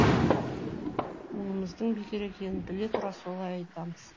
онымыздың бекер екенін біле тұра солай айтамыз